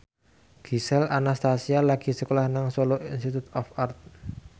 Gisel Anastasia lagi sekolah nang Solo Institute of Art